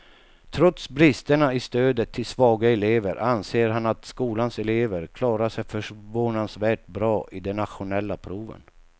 Trots bristerna i stödet till svaga elever anser han att skolans elever klarar sig förvånansvärt bra i de nationella proven.